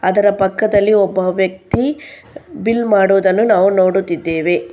ಅದರ ಪಕ್ಕದಲ್ಲಿ ಒಬ್ಬ ವ್ಯಕ್ತಿ ಬಿಲ್ ಮಾಡುವುದನ್ನು ನಾವು ನೋಡುತ್ತಿದ್ದೇವೆ.